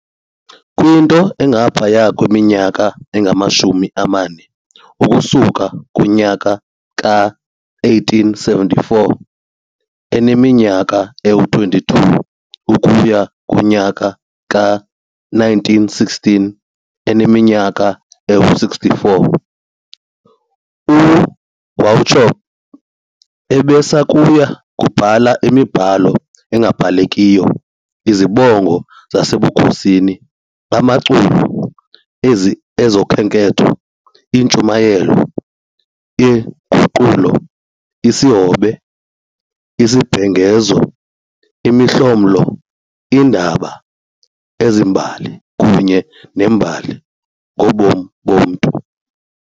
Kwinto engaphaya kweminyaka engamashumi amane, ukusuka kumnyaka we-1874, eneminyaka eyi-22 ukuya kumnyaka we-1916 eneminyaka engama-64, uWauchope ebesakuya kubhala imibhalo engabalekiyo- izibongo zasebukhosini, amaculo, ezokhenketho, iintshumayelo, iinguqulo, isihobe, izibhengezo, imihlomlo, iindaba, ezembali kunye neembali ngobomi bomntu.